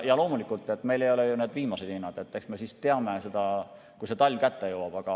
Loomulikult, need ei ole ju need viimased hinnad, eks me neid siis teame, kui talv kätte jõuab.